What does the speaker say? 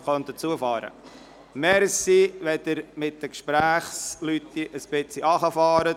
Danke, dass Sie die Lautstärke Ihrer Gespräche ein bisschen verringern.